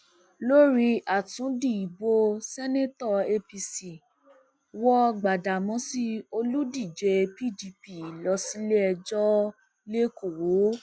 lórí àtúndí ìbò ṣèǹtẹtò apc wọ gbadádámósì olùdíje pdp lọ síléẹjọ lẹkọọ